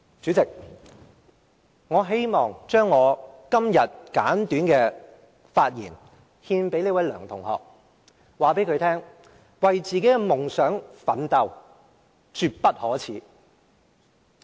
主席，我希望將今天的簡短發言獻給這位梁同學，並告訴他為自己的夢想奮鬥絕不可耻。